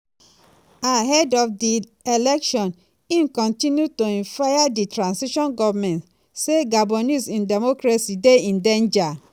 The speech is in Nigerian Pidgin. ahead of di election im kontinu to um fire di transition goment say "gabonese um democracy dey in danger."